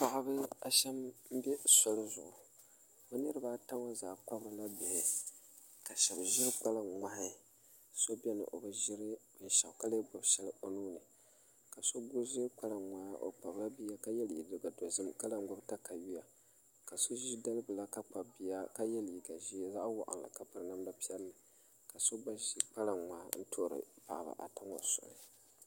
Paɣiba a shɛm n bɛ soli zuɣu bi niriba ata ŋɔ zaa kpabirila bihi ka shɛba ziri kpalaŋ mŋahi so bɛni o bi ziri shɛli ka lɛɛ gbubi shɛli o nuu ni ka so gba ziri kpalaŋ mŋaa o kpabi la bia ka yiɛ liiga dozim ka lan gbubi takayua ka so zi dali bila ka kpabi bia ka yiɛ liiga zɛɛ zaɣi wɔɣinnli ka piri namda piɛlla ka so gba zi kpalaŋ mŋaa n tuhiri paɣiba ata ŋɔ soli.